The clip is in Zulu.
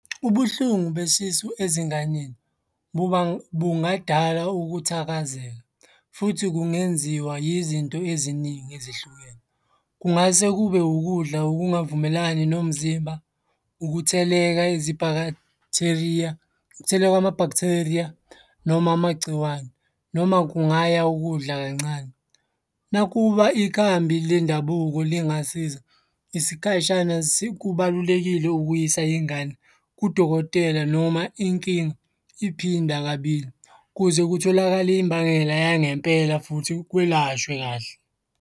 Ubuhlungu besisu ezinganeni bungadala ukuthakazeka futhi kungenziwa yizinto eziningi ezihlukene. Kungase kube ukudla okungavumelani nomzimba, ukutheleka , ukutheleka kwama-bacteria noma amagciwane, noma kungaya ukudla kancane. Nakuba ikhambi lendabuko lingasiza isikhashana, kubalulekile ukuyisa ingane kudokotela noma inkinga iphinda kabili ukuze kutholakale imbangela yangempela futhi kwelashwe kahle.